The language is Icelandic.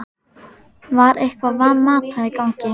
Var eitthvað Van Mata í gangi?